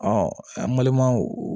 an balimaw